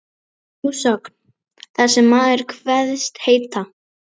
Sú sögn, þar sem maður kveðst heita